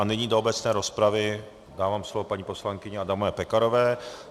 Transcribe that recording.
A nyní do obecné rozpravy dávám slovo paní poslankyni Adamové Pekarové.